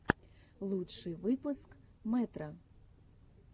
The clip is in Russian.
лучший выпуск мэтро